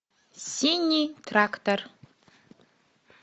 синий трактор